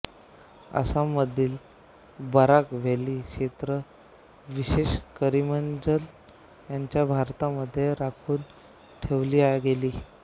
आसाममधील बराक व्हॅली क्षेत्र विशेषत करीमगंज यांना भारतामध्ये राखून ठेवले गेले